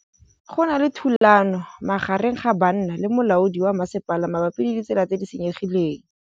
Go na le thulanô magareng ga banna le molaodi wa masepala mabapi le ditsela tse di senyegileng.